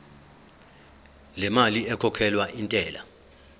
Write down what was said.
lemali ekhokhelwa intela